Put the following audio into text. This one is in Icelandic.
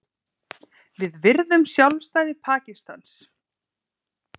Við virðum sjálfstæði Pakistans